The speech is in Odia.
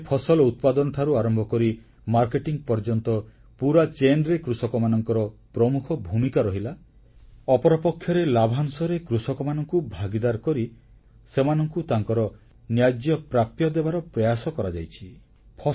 ଏକପକ୍ଷରେ ଫସଲ ଉତ୍ପାଦନଠାରୁ ଆରମ୍ଭ କରି ମାର୍କେଟିଂ ପର୍ଯ୍ୟନ୍ତ ପୁରା ଯୋଗାଣ ଶୃଙ୍ଖଳରେ କୃଷକମାନଙ୍କର ପ୍ରମୁଖ ଭୂମିକା ରହିଲା ଅପରପକ୍ଷରେ ଲାଭାଂଶରେ କୃଷକମାନଙ୍କୁ ଭାଗିଦାର କରି ସେମାନଙ୍କୁ ତାଙ୍କର ନ୍ୟାଯ୍ୟପ୍ରାପ୍ୟ ଦେବାର ପ୍ରୟାସ କରାଯାଇଛି